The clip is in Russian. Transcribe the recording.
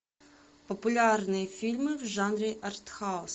популярные фильмы в жанре артхаус